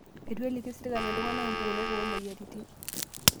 Eito iliki serkali iltunganak mpukunot oomoyiaritin